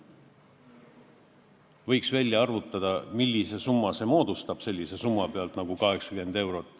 Võiks välja arvutada, millise summa see moodustab näiteks 80 euro korral.